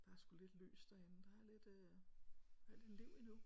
Der er sgu lidt lys derinde der er lidt øh er lidt liv endnu